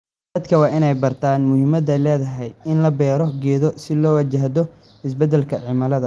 Dadka waa inay bartaan muhiimadda ay leedahay in la beero geedo si loo wajahdo isbeddelka cimilada.